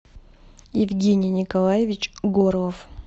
евгений николаевич горлов